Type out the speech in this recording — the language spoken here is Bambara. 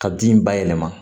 Ka bin bayɛlɛma